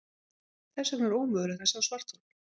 Þess vegna er ómögulegt að sjá svarthol.